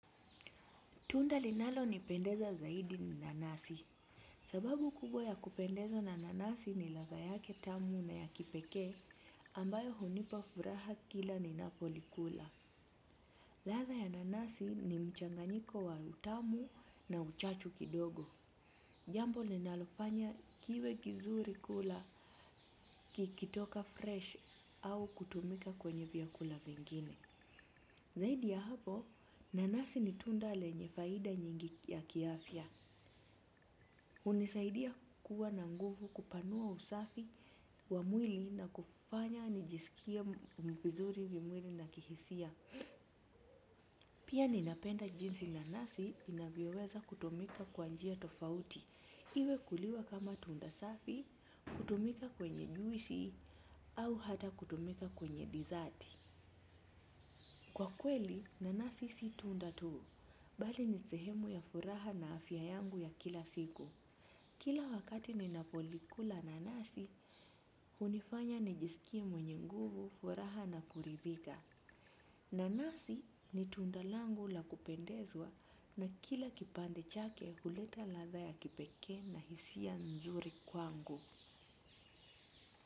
Tunda linalonipendeza zaidi ni nanasi. Sababu kubwa ya kupendezwa na nanasi ni ladha yake tamu na ya kipekee ambayo hunipa furaha kila ninapolikula. Ladha ya nanasi ni mchanganyiko wa utamu na uchachu kidogo. Jambo linalofanya kiwe kizuri kula kikitoka fresh au kutumika kwenye vyakula vingine. Zaidi ya hapo nanasi ni tunda lenye faida nyingi ya kiafya. Hunisaidia kuwa na nguvu kupanua usafi wa mwili na kufanya nijisikie vizuri vimwili na kihisia. Pia ninapenda jinsi nanasi inavyoweza kutumika kwa njia tofauti. Iwe kuliwa kama tunda safi, kutumika kwenye juisi au hata kutumika kwenye dizati. Kwa kweli nanasi si tunda tu bali ni sehemu ya furaha na afya yangu ya kila siku. Kila wakati ninapolikula nanasi, hunifanya nijisikie mwenye nguvu, furaha na kuridhika. Nanasi ni tunda langu la kupendezwa na kila kipande chake huleta ladha ya kipekee na hisia nzuri kwangu.